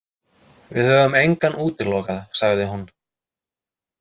Við höfum engan útilokað, sagði hún.